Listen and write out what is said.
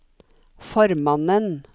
formannen